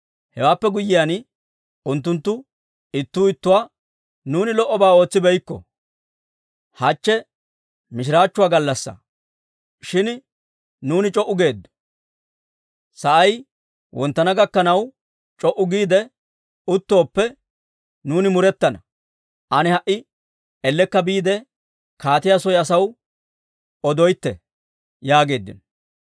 Hewaappe guyyiyaan, unttunttu ittuu ittuwaa, «Nuuni lo"obaa ootsibeykko. Hachche mishiraachchuwaa gallassaa; shin nuuni c'o"u geeddo. Sa'ay wonttana gakkanaw, c'o"u giide uttooppe, nuuni murettana. Ane ha"i ellekka biide, kaatiyaa soy asaw odeetto» yaageeddino.